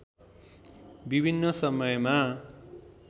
विभिन्न समयमा